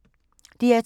DR2